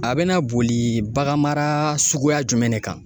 A bɛna boli bagan mara suguya jumɛn de kan.